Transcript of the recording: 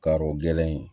Ka o gɛlɛn yen